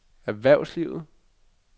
erhvervslivet